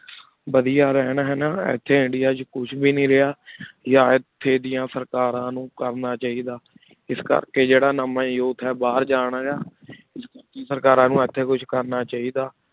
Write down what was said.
ਵਾਦਿਯ ਰਹਨ ਹੈਨਾ ਇਥੀ ਇੰਡੀਆ ਵਿਚ ਕੁਛ ਵੇ ਨਹੀ ਰਿਯ youth ਡਿਯਨ ਸਰਕਾਰਾਂ ਨੂ ਕਰਨਾ ਚਾਹੀ ਦਾ ਇਸ ਕਰ ਕੀ ਜੇਰਾ ਨਾ ਮੈਂ ਬਹਿਰ ਜਾਨ ਦਾ ਸਰਕਾਰਾਂ ਨੂ ਇਥੀ ਕੁਛ ਕਰਨਾ ਚਾਹੀ ਦਾ